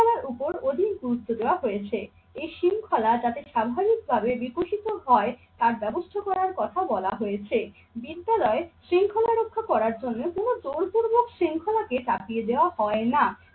উপর অধিক গুরুত্ব দেওয়া হয়েছে। এই শৃঙ্খলা যাতে স্বাভাবিকভাবে বিকশিত হয় তার ব্যবস্থা করার কথা বলা হয়েছে। বিদ্যালয় শৃঙ্খলা রক্ষা করার জন্য কোনো জোর পূর্বক শৃঙ্খলাকে চাপিয়ে দেওয়া হয় না।